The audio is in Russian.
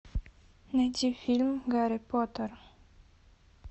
найти фильм гарри поттер